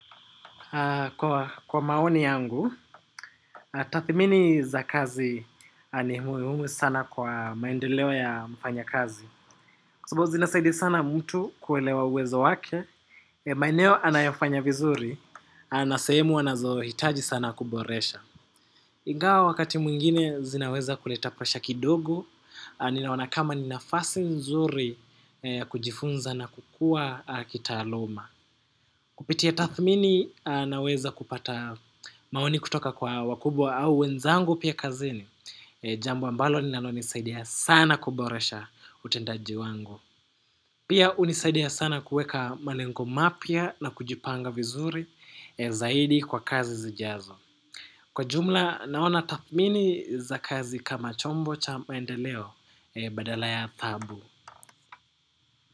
Kwa maoni yangu, tathmini za kazi ni muhimu sana kwa maendeleo ya mfanya kazi. Kwa sababu zinasaidia sana mtu kuelewa uwezo wake, ya maeneo anayofanya vizuri, ana sehemu anazohitaji sana kuboresha. Ingawa wakati mwingine zinaweza kuleta pasha kidogo, ninaona kama ni nafasi nzuri kujifunza na kukua kitaaluma. Kupitia tathmini naweza kupata maoni kutoka kwa wakubwa au wenzangu pia kazini. Jambo ambalo linalonisaidia sana kuboresha utendaji wangu. Pia hunisaidia sana kuweka malengo mapya na kujipanga vizuri zaidi kwa kazi zijazo. Kwa jumla naona tathmini za kazi kama chombo cha maendeleo badala ya taabu.